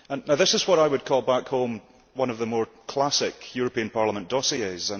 This is what I would call back home one of the more classic European Parliament dossiers.